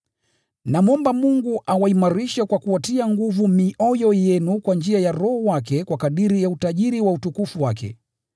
Namwomba Mungu awaimarishe kwa kuwatia nguvu mioyo yenu kwa njia ya Roho wake kwa kadiri ya utajiri wa utukufu wake,